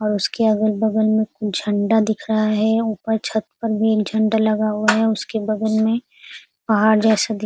और उसके अगल-बगल में झंडा दिख रहा है। ऊपर छत पर मेन झंडा लगा हुआ है उसके बगल में पहाड़ जैसा दिख --